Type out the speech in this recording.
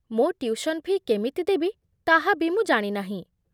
ମୋ tuition fee' କେମିତି ଦେବି, ତାହା ବି ମୁଁ ଜାଣିନାହିଁ